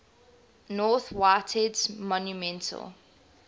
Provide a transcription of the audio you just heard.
north whitehead's monumental